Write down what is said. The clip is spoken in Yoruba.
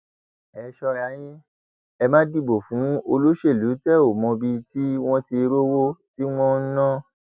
ẹ sọra yín ẹ má dìbò fún olóṣèlú tẹ ò mọbi tí wọn ti rówó tí wọn ń ná